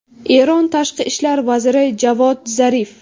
Eron tashqi ishlar vaziri Javod Zarif.